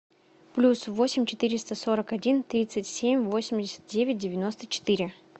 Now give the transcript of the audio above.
плюс восемь четыреста сорок один тридцать семь восемьдесят девять девяносто четыре